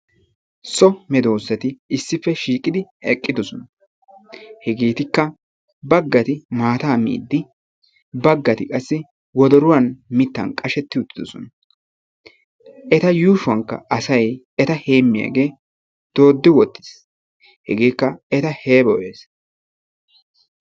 So medosay issippe shiiqidi eqqidosona. Hegeetikka baggati maataa miidi baggati qassi wodoruwan mittan qashetti uttidosona. Eta yushuwankka asay eta heemiyage doodi wottis. Hegeeka eta heeboyees.